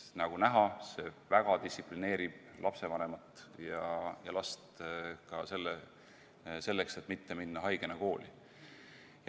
Sest nagu näha, see väga distsiplineerib lapsevanemat ja last ka selleks, et mitte minna haigena kooli.